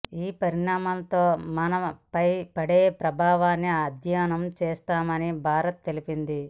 ఈ పరిణామాలతో మనపై పడే ప్రభావాన్ని అధ్యయనం చేస్తున్నామని భారత్ తెలిపింది